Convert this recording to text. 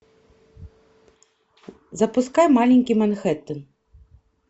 запускай маленький манхэттен